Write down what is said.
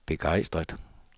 begejstret